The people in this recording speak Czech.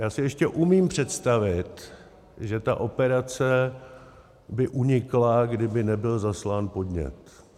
Já si ještě umím představit, že ta operace by unikla, kdyby nebyl zaslán podnět.